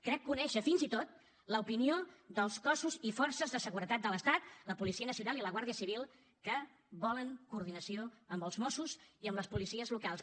crec conèixer fins i tot l’opinió dels cossos i forces de seguretat de l’estat la policia nacional i la guardia civil que volen coordinació amb els mossos i amb les policies locals